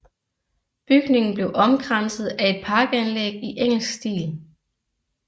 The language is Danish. Bygningen blev omkranset af et parkanlæg i engelsk stil